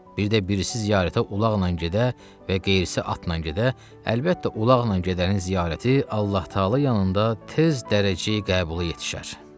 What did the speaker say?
Bir də birisi ziyarətə ulaqla gedə və qeyrisi atla gedə, əlbəttə ulaqla gedənin ziyarəti Allah-taala yanında tez dərəcəyə qəbula yetişər.